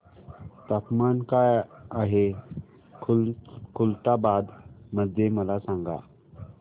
तापमान काय आहे खुलताबाद मध्ये मला सांगा